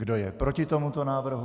Kdo je proti tomuto návrhu?